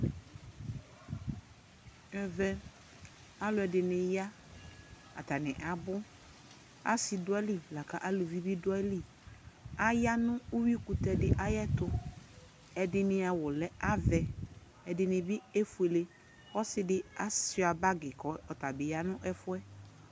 Ɛvɛ alʋɔdi ni ya, atani abu Asi dʋ ayʋli kʋ alʋvi bi dʋ ayʋli Aya nʋ edini kʋtɛ dι ayʋ ɛtu Ɛdini awu lɛ avɛ ɛdini bι efuele Ɔsi di atsua bagi kʋ ɔtabi ya nʋ ɛfu yɛ